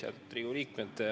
Head Riigikogu liikmed!